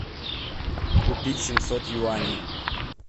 купить семьсот юаней